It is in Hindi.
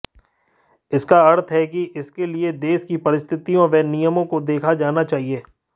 इसका अर्थ है कि इसके लिए देश की परिस्थितियों व नियमों को देखा जाना चाहिए